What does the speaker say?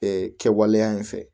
Ee kɛwaleya in fɛ